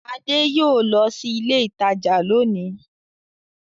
Ade yóò lọ sí ilé-ìtajà lónìí.